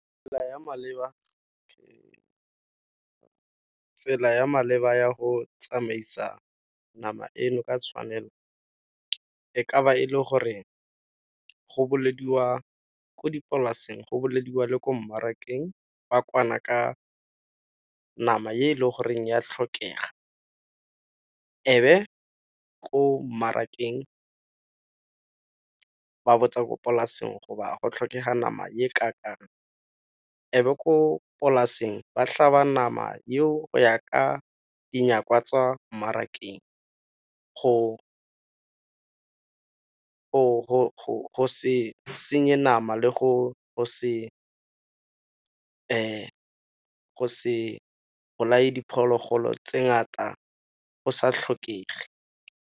Tsela ya maleba ya go tsamaisa nama eno ka tshwanelo. E ka ba e le gore go ko dipolaseng go le ko mmarakeng ba kwana ka nama e le goreng ya tlhokega, ebe ko mmarakeng ba botsa polaseng go tlhokega nama e e . E be ko dipolaseng ba tlhaba nama eo go ya ka dinyakwa tsa mmarakeng, go se senye nama le go se bolae diphologolo tse ngata go sa tlhokege.